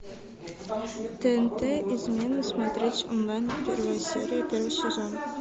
тнт измены смотреть онлайн первая серия первый сезон